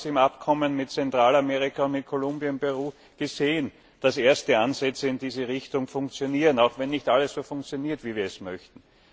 Wir haben im Abkommen mit Zentralamerika und mit Kolumbien und Peru gesehen, dass erste Ansätze in diese Richtung funktionieren auch wenn nicht alles so funktioniert, wie wir es möchten.